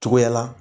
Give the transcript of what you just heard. Cogoya la